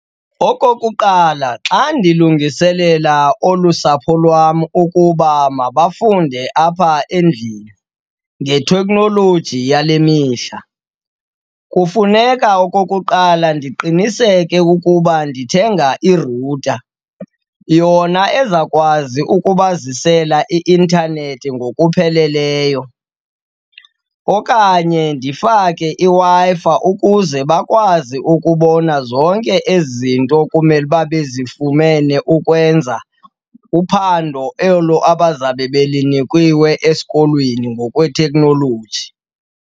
Okokuqala, xa ndilungiselela olu sapho lwam ukuba mabafunde apha endlini ngeteknoloji yale mihla, kufuneka okokuqala ndiqiniseke ukuba ndithenga i-router yona eza kwazi ukubazisela i-intanethi ngokupheleleyo. Okanye ndifake iWi-Fi ukuze bakwazi ukubona zonke ezi zinto kumele uba bezifumene ukwenza uphando olo abazabe belinikiwe esikolweni ngokwetekhnoloji.